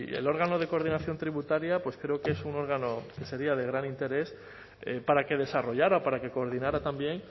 el órgano de coordinación tributaria creo que es un órgano que sería de gran interés para que desarrollara o para que coordinara también